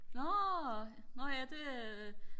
nårh nårh ja det øh